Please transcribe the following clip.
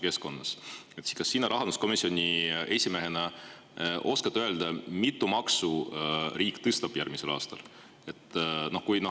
Kas sina rahanduskomisjoni esimehena oskad öelda, kui mitut maksu riik järgmisel aastal tõstab?